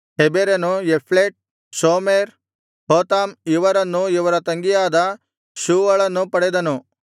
ಹೆಬೆರನು Japhlet Shomer Hotham ಇವರನ್ನೂ ಇವರ ತಂಗಿಯಾದ ಶೂವಳನ್ನೂ ಪಡೆದನು